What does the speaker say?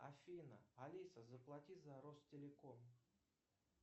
афина алиса заплати за ростелеком